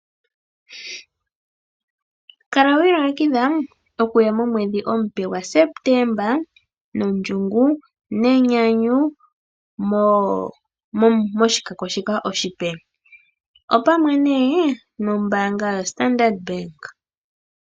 Kala wa ilongekidha okuya momwedhi omupe gwaSeptemba nondjungu, nonenyanyu moshikako shika oshipe opamwe nee nombaanga yaStandard bank.